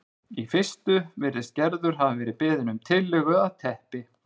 Í fyrstu virðist Gerður hafa verið beðin um tillögu að teppi